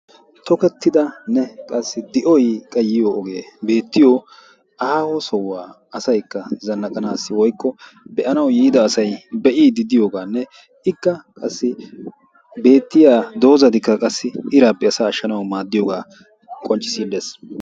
tokkettidanne qassi di"oy qa yiyoo ogee beettiyoo aaho sohuwaa asaykka zannaqaassi woykko be"anaw yiida asay be'iddi diyooganne ikka qassi beettiyaa dozzatikka iraappe asaa ashshanaw maadiyoogaa qonccisiidi de"ees.